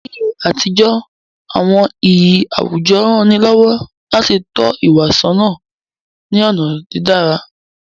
Ni àtijọ́, àwọn iyì àwùjọ rán ni lọ́wọ́ láti tọ́ ìwà sọ́nà ní ọ̀nà dídára.